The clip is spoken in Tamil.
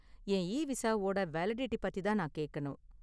என் இவிசாவோட வேலிடிட்டி பத்தி தான் நான் கேக்கணும்.